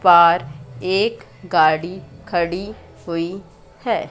पार एक गाड़ी खड़ी हुई है।